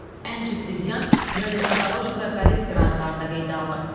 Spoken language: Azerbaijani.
Ən ciddi ziyan Jelyeznadorojni və Qalitski rayonlarında qeydə alınıb.